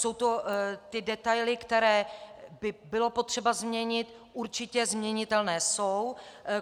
Jsou to ty detaily, které by bylo potřeba změnit, určitě změnitelné jsou.